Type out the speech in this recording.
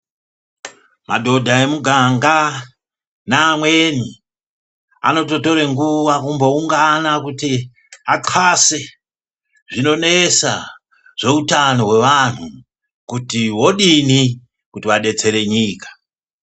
Madodha emuganga naamweni, anototore nguva kumboungana kuti acase zvinonetsa zvehutano hwevanhu kuti wodini kuti vadetsere nyika.